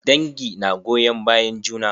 Dangi na goyon bayan juna.